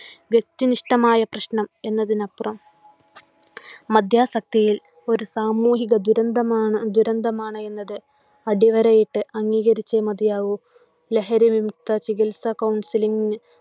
വ്യക്തിനിഷ്ടമായ പ്രശ്നം എന്നതിനപ്പുറം മദ്യാസക്തിയിൽ ഒരു സാമൂഹിക ദുരന്തമാണ്ദുരന്തമാണ് എന്നത് അടിവരയിട്ട് അംഗീകരിച്ചേ മതിയാവു. ലഹരി വിമുക്ത ചികിത്സ കൗൺസിലിന്